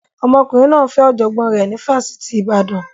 Ọmọkùnrin náà ń fẹ́ ọ̀jọ̀gbọ́n rẹ̀ ní Fásitì Ibadan